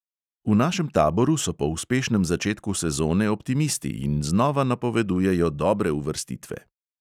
V našem taboru so po uspešnem začetku sezone optimisti in znova napovedujejo dobre uvrstitve.